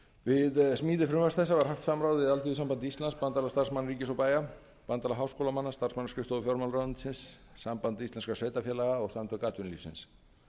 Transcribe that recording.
við smíði frumvarps þessa var haft samráð við alþýðusamband íslands bandalag starfsmanna ríkis og bæja bandalag háskólamanna starfsmannaskrifstofu fjármálaráðuneytis samband íslenskra sveitarfélaga og samtök atvinnulífsins